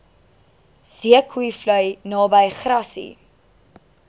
zeekoevlei naby grassy